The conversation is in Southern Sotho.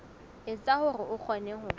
etsa hore o kgone ho